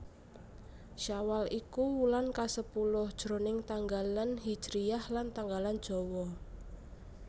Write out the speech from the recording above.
Syawal iku wulan kasepuluh jroning tanggalan hijriyah lan tanggalan Jawa